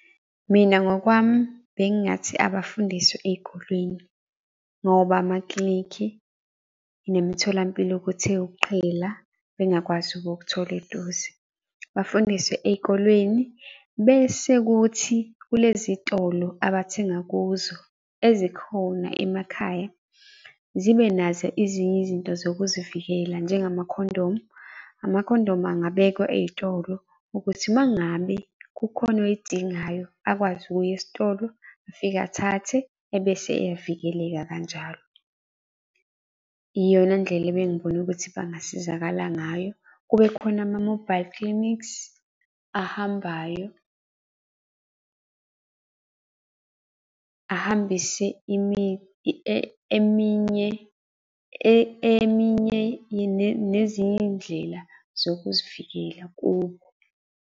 Mina ngokwami bengingathi abafundiswe ey'kolweni, ngoba amaklinikhi nemitholampilo kuthe ukuqhela bengakwazi ukukuthola eduze. Bafundiswe ey'kolweni, bese kuthi kulezi tolo abathenga kuzo ezikhona emakhaya zibe nazo ezinye izinto zokuzivikela njengamakhondomu, amakhondomu angabekwa ey'tolo ukuthi uma ngabe kukhona oy'dingayo akwazi ukuya esitolo afike athathe ebese eyavikeleka kanjalo. Iyona ndlela ebengibona ukuthi bangasizakala ngayo. Kube khona ama-mobile clinics ahambayo, ahambise eminye eminye nezinye iy'ndlela zokuzivikela kubo.